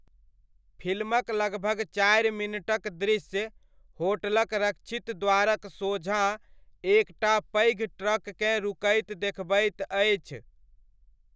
फिल्मक लगभग चारि मिनटक दृश्य, होटलक रक्षित द्वारक सोझाँ एक टा पैघ ट्रककेँ रुकैत देखबैत अछि।